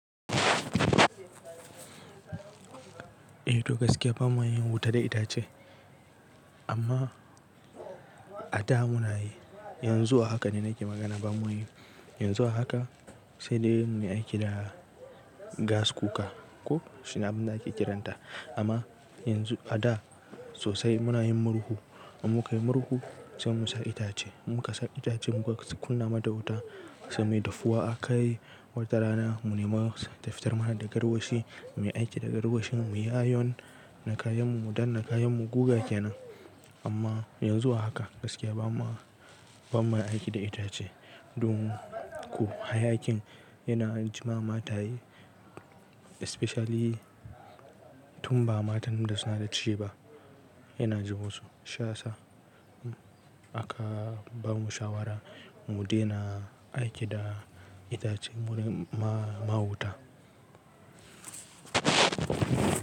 Eh to gaskiya ba ma yin wuta da itace amma a da muna yi, yanzu a haka da nake magana ba mu yi. Yanzu a haka sai dai mu yi aiki da gas cooker ko shine abin da ake kiranta amma yanzu a da sosai muna yin murhu. In muka yi murhu sai mu sa itace, muka sa itace muka kunna mata wuta sai muyi daffuwa akai wata rana mu ni ma tafitar mana da garwashi, muyi aiki da garwashin mu yi ayon na kayan mu don na kayan mu guga kenan. Amma yanzu a haka gaskiya ba ma, ba ma aiki da itace. Don ko hayakin yana jima mataye especially tun ba matan da suna da ciki ba yana ji musu shi ya sa. Aka ba mu shawara mu dena aiki da itace wurin ma, ma wuta.